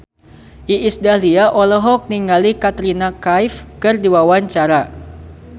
Iis Dahlia olohok ningali Katrina Kaif keur diwawancara